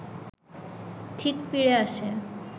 ঠিক ফিরে আসে